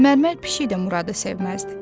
Mərmər pişik də Muradı sevməzdi.